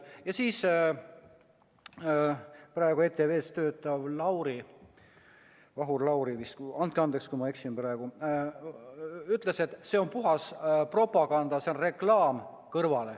Ja siis ütles praegu ETV-s töötav Vahur Lauri vist – andke andeks, kui ma eksin –, et see on puhas propaganda, see on reklaam kõrvale.